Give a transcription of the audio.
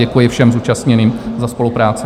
Děkuji všem zúčastněným za spolupráci.